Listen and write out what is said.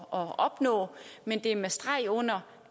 at opnå men det er med streg under